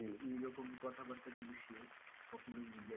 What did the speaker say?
এরকম কথাবার্তা কিন্তু সে কখনোই media র,